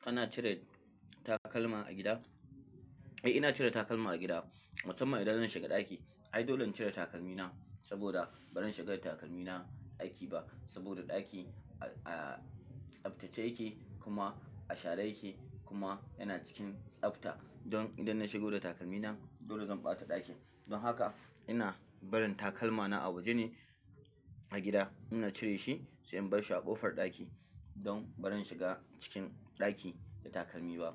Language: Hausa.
Kana cire takalma a gida? Eh ina cire takalma a gida, musamman idan zan shiga ɗaki. Ai dole in cire takalmi na saboda ba zan shiga da takalmi na ɗaki ba saboda ɗaki a tsaftace yake kuma a share yake kuma yana cikin tsafta. Don idan na shigo da takalmi na dole zan ɓata ɗakin. Don haka ina barin takalma na a waje ne a gida ina cire shi sai in bar shi a ƙofar ɗaki don ba zan shiga cikin ɗaki da takalmi ba.